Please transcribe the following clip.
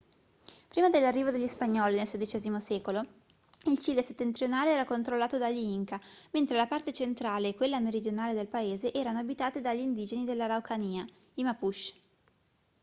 prima dell'arrivo degli spagnoli nel xvi secolo il cile settentrionale era controllato dagli inca mentre la parte centrale e quella meridionale del paese erano abitate dagli indigeni dell'araucanía i mapuche